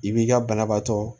I b'i ka banabaatɔ